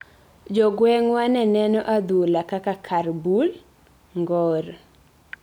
Jogwengwa ne neno adhula kaka kar bulo ngor